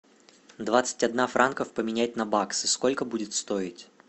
двадцать одна франков поменять на баксы сколько будет стоить